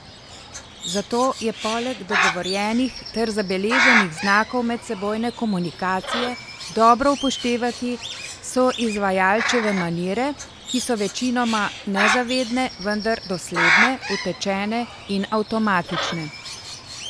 Zato je poleg dogovorjenih ter zabeleženih znakov medsebojne komunikacije dobro upoštevati soizvajalčeve manire, ki so večinoma nezavedne, vendar dosledne, utečene in avtomatične.